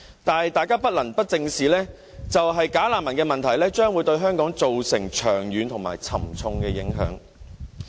但是，大家不能不正視的一點，便是"假難民"的問題將會對香港造成長遠和沉重的影響。